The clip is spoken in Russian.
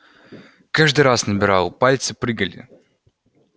каждый раз набирал пальцы прыгали